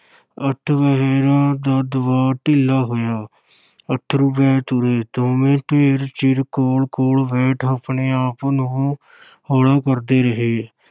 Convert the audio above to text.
ਅੱਠ ਪਹਿਰਾਂ ਦਾ ਦਬਾਅ ਢਿੱਲਾ ਹੋਇਆ ਅੱਥਰੂ ਵਹਿ ਤੁਰੇ, ਦੋਵੇਂ ਢੇਰ ਚਿਰ ਕੋਲ-ਕੋਲ ਬੈਠ ਆਪਣੇ-ਆਪ ਨੂੰ ਹੌਲਾ ਕਰਦੇ ਰਹੇ।